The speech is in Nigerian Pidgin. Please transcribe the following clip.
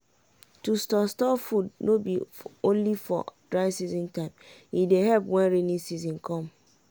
to store store anima food no bi only for dry season time e dey help wen raining season come.